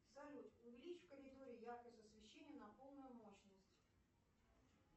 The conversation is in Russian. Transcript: салют увеличь в коридоре яркость освещения на полную мощность